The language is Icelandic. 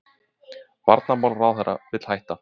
Varnarmálaráðherra vill hætta